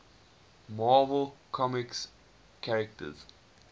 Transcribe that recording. marvel comics characters